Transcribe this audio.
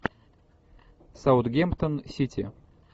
саутгемптон сити